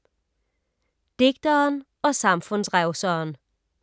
Digteren og samfundsrevseren